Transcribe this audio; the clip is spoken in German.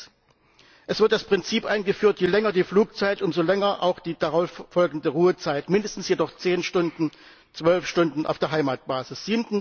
Sechstens Es wird das Prinzip eingeführt je länger die Flugzeit, umso länger auch die darauf folgende Ruhezeit, mindestens jedoch zehn Stunden, zwölf Stunden auf der Heimatbasis.